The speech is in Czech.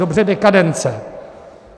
Dobře, dekadence.